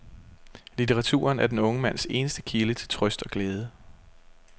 Litteraturen er den unge mands eneste kilde til trøst og glæde.